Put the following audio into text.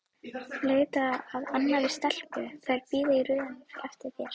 Leitaðu að annarri stelpu, þær bíða í röðum eftir þér!